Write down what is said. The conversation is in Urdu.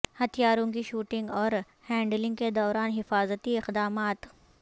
ہتھیاروں کی شوٹنگ اور ہینڈلنگ کے دوران حفاظتی اقدامات